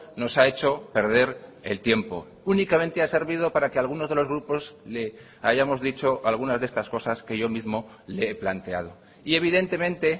nos ha hecho perder el tiempo únicamente ha servido para que algunos de los grupos le hayamos dicho algunas de estas cosas que yo mismo le he planteado y evidentemente